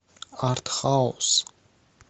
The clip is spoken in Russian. артхаус